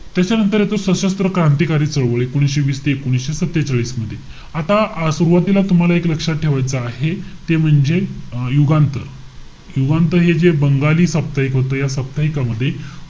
त्याच्यानंतर येतो, सशस्त्र क्रांतिकारी चळवळ. एकोणीशे वीस ते एकोणीशे सत्तेचाळीस मध्ये. आता सुरवातीला तुम्हाला एक लक्षात ठेवायचं आहे ते म्हणजे अं युगांत. युगांत हे जे बंगाली साप्ताहिक होतं. या साप्ताहिकामध्ये,